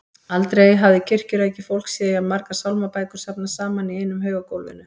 Aldrei hafði kirkjurækið fólk séð jafn margar sálmabækur safnast saman í einum haug á gólfinu.